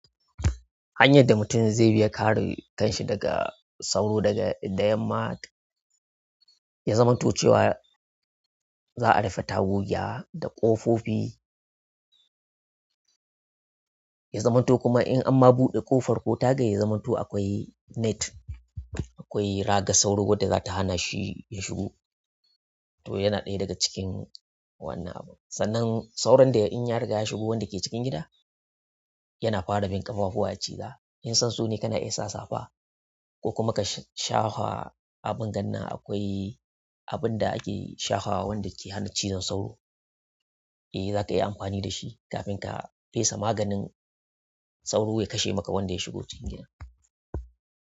Hanyar da mutum zai bi ya kare kanshi daga sauro daga da yamma, ya zamanto cewa za'a rufe tagogi da ƙofofi. Ya zamanto kuma in amma buɗe ƙofar ko taga ya zamanto akwai net, akwai raga sauro wadda za ta hana shi ya shigo. To yana ɗaya daga cikin wannan abu. Sannan sauron da in ya riga ya shigo wanda yake cikin gida, yana fara bin ƙafafuwa ya ciza. In san so ne kana iya sa safa ko kuma ka shafa abin gan na. Akwai abin da ake shafawa wanda ke hana cizon sauro. In zakayi amfani da shi kafin ka pesa magani. Sauro ya kashe maka wanda ya shigo cikin gidan.